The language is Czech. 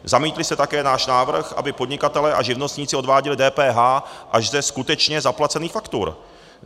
Zamítli jste také náš návrh, aby podnikatelé a živnostníci odváděli DPH až ze skutečně zaplacených faktur.